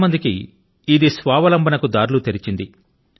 చాలా మందికి ఇది స్వావలంబన కు దారుల ను తెరచింది